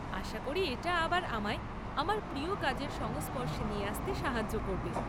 আশা করি এটা আবার আমায় আমার প্রিয় কাজের সংস্পর্শে নিয়ে আসতে সাহায্য করবে।